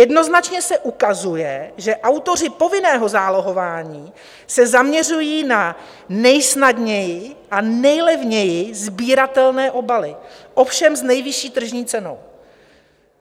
Jednoznačně se ukazuje, že autoři povinného zálohování se zaměřují na nejsnadněji a nejlevněji sbíratelné obaly, ovšem s nejvyšší tržní cenou,